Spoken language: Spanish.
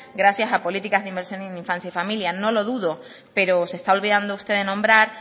gracias a políticas de inversión en infancia y familia no lo dudo pero se está olvidando usted de nombrar